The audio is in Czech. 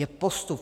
Je postup